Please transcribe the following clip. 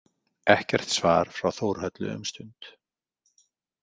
Ekkert svar frá Þórhöllu um stund.